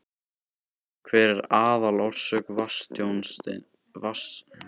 Hver er aðalorsök vatnstjónsins, ef orsakir eru fleiri en ein?